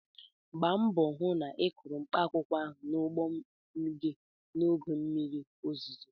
Gba mbọ hụ na ị kụrụ mkpaakwụkwọ n'ugbo gị n'oge mmiri ozuzo!